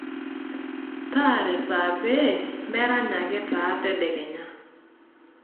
taara esaa pee merany ake taa tedekenya